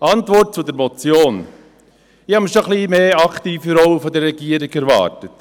Bezüglich der Antwort zur Motion: Ich habe schon eine ein wenig aktivere Rolle der Regierung erwartet.